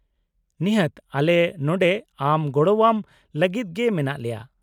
-ᱱᱤᱦᱟᱹᱛ, ᱟᱞᱮ ᱱᱚᱰᱮ ᱟᱢ ᱜᱚᱲᱚᱣᱟᱢ ᱞᱟᱹᱜᱤᱫ ᱜᱮ ᱢᱮᱱᱟᱜ ᱞᱮᱭᱟ ᱾